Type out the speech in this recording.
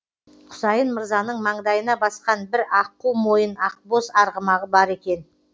құсайын мырзаның маңдайына басқан бір аққу мойын ақбоз арғымағы бар екен